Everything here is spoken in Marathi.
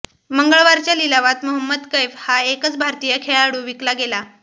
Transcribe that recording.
मंगळवारच्या लिलावात मोहम्मद कैफ हा एकच भारतीय खेळाडू विकला गेला